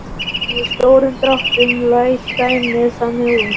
En í stórum dráttum leit dæmið þannig út